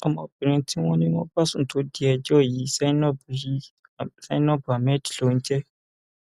ọmọbìnrin tí wọn ní wọn bá sùn tó di ẹjọ yìí zainab yìí zainab ahmed ló ń jẹ